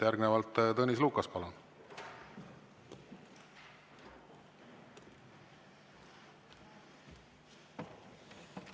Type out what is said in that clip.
Järgnevalt Tõnis Lukas, palun!